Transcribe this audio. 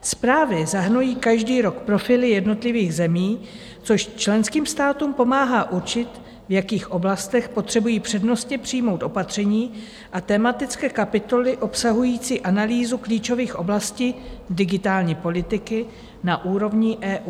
Zprávy zahrnují každý rok profily jednotlivých zemí, což členským státům pomáhá určit, v jakých oblastech potřebují přednostně přijmout opatření a tematické kapitoly obsahující analýzu klíčových oblastí digitální politiky na úrovni EU.